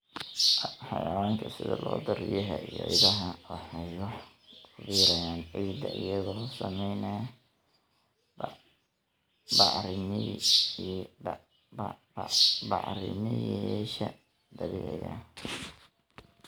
Xayawaanka sida lo'da, riyaha, iyo idaha waxay wax ku biiriyaan ciidda iyagoo samaynaya bacrimiyeyaasha dabiiciga ah.